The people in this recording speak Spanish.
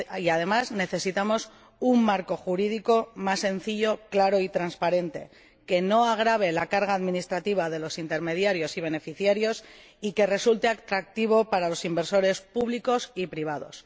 Además, necesitamos un marco jurídico más sencillo, claro y transparente, que no agrave la carga administrativa de los intermediarios y beneficiarios y que resulte atractivo para los inversores públicos y privados.